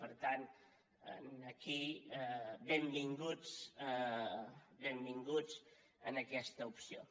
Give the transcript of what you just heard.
per tant aquí benvinguts benvinguts a aquesta opció